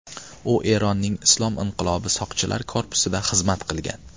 U Eronning Islom inqilobi soqchilar korpusida xizmat qilgan.